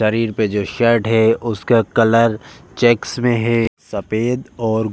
शरीर पर जो शर्ट है उसका कलर चेक्स में है सफेद और --